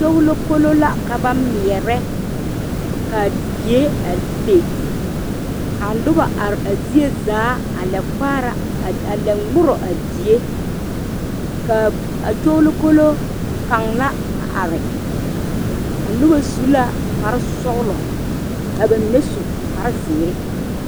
Kyuulo kolo la ka ba meɛre kaa die a le ka noba are a zie zaa a lɛ kpaara a lɛ ore die kaa kyuulo kolo kaŋ la a are a noba su la kpare sɔglɔ ka ba mine su kpare ziiri.